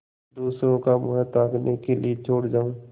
दूसरों का मुँह ताकने के लिए छोड़ जाऊँ